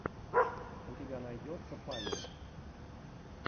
у тебя найдется павел